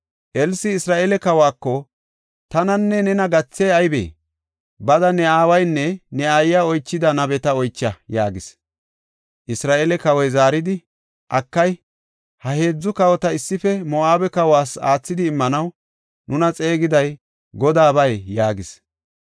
Elsi Isra7eele kawako, “Tananne nena gathey aybee? Bada ne aawaynne ne aayiya oychida nabeta oycha” yaagis. Isra7eele kawoy zaaridi, “Akay, ha heedzu kawota issife Moo7abe kawas aathidi immanaw nuna xeegiday Godaabay!” yaagis.